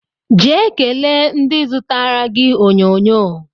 Jee kelee ndị zụtara gị onyonyo